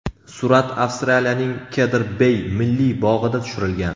Surat Avstraliyaning Kedr-Bey milliy bog‘ida tushirilgan.